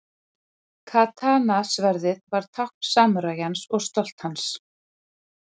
Katana-sverðið var tákn samúræjans og stolt hans.